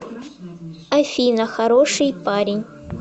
афина хороший парень